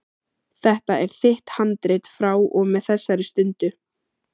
Þetta er þitt handrit frá og með þessari stundu.